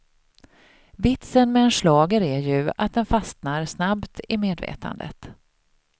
Vitsen med en schlager är ju att den fastnar snabbt i medvetandet.